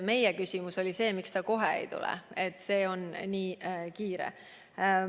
Meie küsimus oli siis, miks ta kohe ei tule, see oli nii kiire asi.